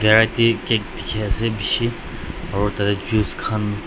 cake dikhiase bishi aro tatey juice khan--